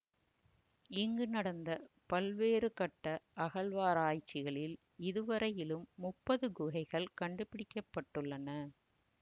இங்கு நடந்த பல்வேறுகட்ட அகழ்வாராய்ச்சிகளில் இதுவரையிலும் முப்பது குகைகள் கண்டுபிடிக்க பட்டுள்ளன